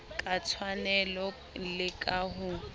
ka tshwanelo le ka ho